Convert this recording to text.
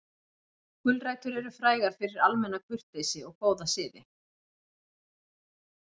Gulrætur eru frægar fyrir almenna kurteisi og góða siði.